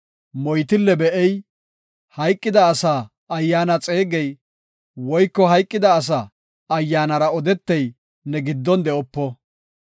moytille be7ey, hayqida asa ayyaana xeegey, woyko hayqida asa ayyaanara odetey ne giddon de7opo.